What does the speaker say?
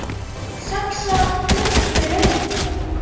Saxað buff með lauk